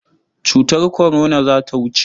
Cutar kwarona za ta wuce.